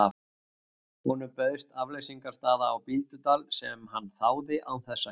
Honum bauðst afleysingarstaða á Bíldudal sem hann þáði án þess að hika.